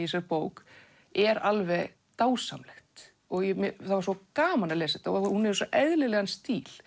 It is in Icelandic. þessari bók er alveg dásamlegt og það var svo gaman að lesa þetta og hún hefur svo eðlilegan stíl